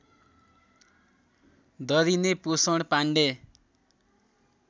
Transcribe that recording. दरिने पोषण पाण्डे